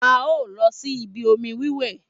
A o lọ síbi omi wíwẹ̀